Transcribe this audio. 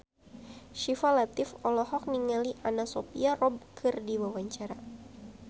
Syifa Latief olohok ningali Anna Sophia Robb keur diwawancara